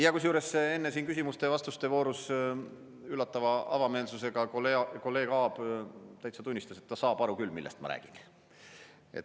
Ja enne siin küsimuste ja vastuste voorus üllatava avameelsusega kolleeg Aab täitsa tunnistas, et ta saab aru küll, millest ma räägin.